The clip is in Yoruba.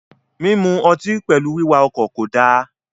Minu ọtí pẹlú wiwà ọkọ ko da..